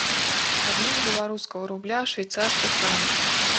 обмен белорусского рубля в швейцарских франках